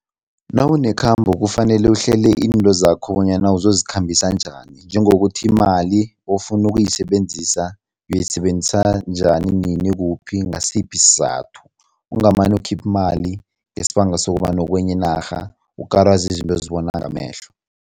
Nawunekhamba kufanele uhlele izinto zakho bonyana uzozikhambisana njani njengokuthi imali ofuna ukuyisebenzisa uyisebenzisa njani, nini, kuphi, ngasiphi isizathu, ungamane ukhiphe imali ngesibanga sokobana ukwenye inarha ukarwa zizinto ozibona ngamehlo.